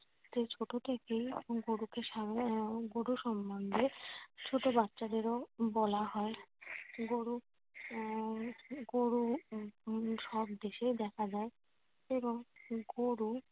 ছোট থেকেই গরুকে গরু সম্বন্ধে ছোট বাচ্চাদেরও বলা হয়। গরু আহ গরু সব দেশেই দেখা যায়। এবং গরু